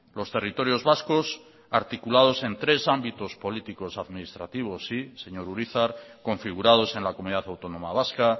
los territorios vascos articulados en tres ámbitos políticos administrativos señor urizar configurados en la comunidad autónoma vasca